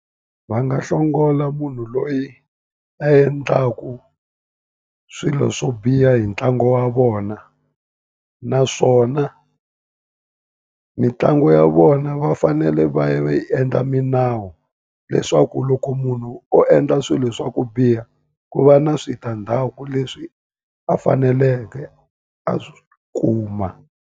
Va nga hlongola munhu loyi a endlaka swilo swo biha hi ntlangu wa vona. Naswona mitlangu ya vona va fanele va ya va yi endla milawu, leswaku loko munhu o endla swilo swa ku biha ku va na switandzhaku leswi a faneleke a swi kuma.